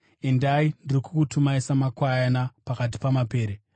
Endai! Ndiri kukutumai samakwayana pakati pamapere.